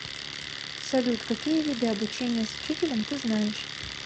салют какие виды обучение с учителем ты знаешь